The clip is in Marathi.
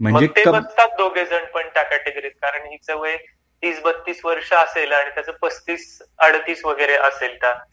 मग ते बघतात दोघाहि लोक भरू शकतात हि चे वय तीस बत्तीस वर्ष असेल आणि त्याच पासतीस अडतीस वगरे असेल तर